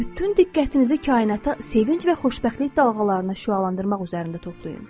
Bütün diqqətinizi kainata sevinc və xoşbəxtlik dalğalarına şüalandırmaq üzərində toplayın.